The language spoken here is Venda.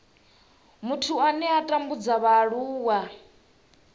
muthu ane a tambudza vhaaluwa